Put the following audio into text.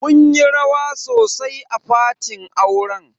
Mun yi rawa sosai a fatin auren.